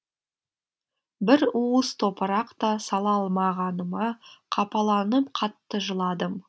бір уыс топырақ та сала алмағаныма қапаланып қатты жыладым